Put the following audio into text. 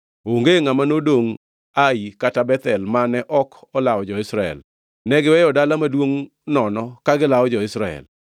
Onge ngʼama nodongʼ Ai kata Bethel mane ok olawo jo-Israel. Ne giweyo dala maduongʼ nono ka gilawo jo-Israel.